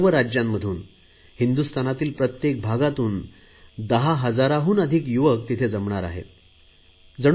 सर्व राज्यांमधून हिंदुस्थानातील प्रत्येक भागातून दहा हजारांहून अधिक युवक तिथे जमणार आहेत अशी मला माहिती मिळाली आहे